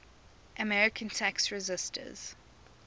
american tax resisters